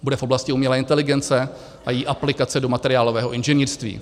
Bude v oblasti umělé inteligence a její aplikace do materiálového inženýrství.